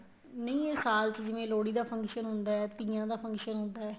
ਨਹੀਂ ਇਹ ਸਾਲ ਚ ਜਿਵੇਂ ਲੋਹੜੀ ਦਾ function ਹੁੰਦਾ ਏ ਤੀਆਂ ਦਾ function ਹੁੰਦਾ ਏ